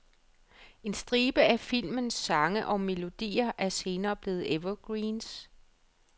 En stribe af filmens sange og melodier er senere blevet evergreens.